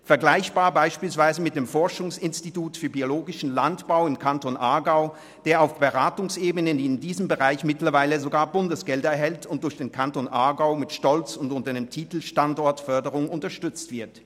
Dies ist beispielsweise mit dem Forschungsinstitut für biologischen Landbau im Kanton Aargau vergleichbar, welches auf der Beratungsebene in diesem Bereich mittlerweile sogar Bundesgelder erhält und durch den Kanton Aargau mit Stolz und unter dem Titel «Standortförderung» unterstützt wird.